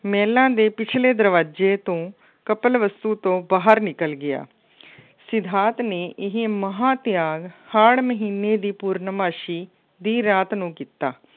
ਮਹਿਲਾਂ ਦੇ ਪਿਛਲੇ ਦਰਵਾਜ਼ੇ ਤੋਂ ਕਪਲਵਸਤੂ ਤੋਂ ਬਾਹਰ ਨਿਕਲ ਗਿਆ। ਸਿਧਾਰਥ ਨੇ ਇਹ ਮਹਾਂ-ਤਿਆਗ ਹਾੜ੍ਹ ਮਹੀਨੇ ਦੀ ਪੂਰਨਮਾਸੀ ਦੀ ਰਾਤ ਨੂੰ ਕੀਤਾ।